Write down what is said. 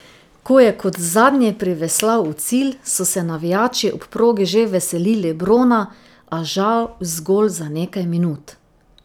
Ko je kot zadnji priveslal v cilj, so se navijači ob progi že veselili brona, a žal zgolj za nekaj minut.